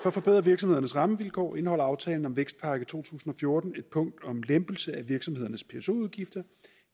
at forbedre virksomhedernes rammevilkår indeholder aftalen om vækstpakke to tusind og fjorten et punkt om lempelse af virksomhedernes pso udgifter